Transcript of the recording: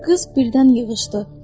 Qız birdən yığışdı.